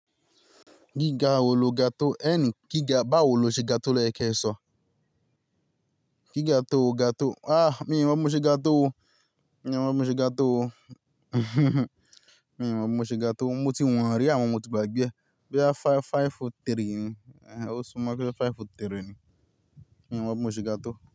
Gíga wo lo ga tó, ẹ́ ni báwo lò ṣe ga tó loyẹ́ k'ẹ́sọ̀? Kí ga tó, ga tó? Àh mi ò mọ̀ bi mo ṣe ga tó o, mi ò mọ̀ bi mo ṣe ga tó o. Mi ò mọ̀ bi mo ṣe ga tó o, mo ti wọ̀n rí àmọ mo ti gbàgbé e. Boya á five, five foot three ni, ehen o sunmọ́ ko je five foot three ni. Mi ò mọ̀ bi mo ṣe ga tó.